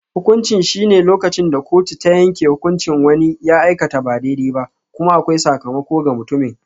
Hukunci shine lokacin da kotu ta yanke hukuncin wani ya aikata ba daidai ba, kuma akwai sakamako ga mutumin.